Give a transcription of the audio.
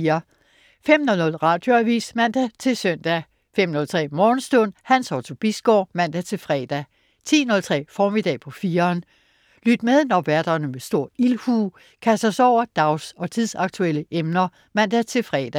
05.00 Radioavis (man-søn) 05.03 Morgenstund. Hans Otto Bisgaard (man-fre) 10.03 Formiddag på 4'eren. Lyt med, når værterne med stor ildhu kaster sig over dags- og tidsaktuelle emner (man-fre)